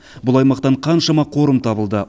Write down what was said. бұл аймақтан қаншама қорым табылды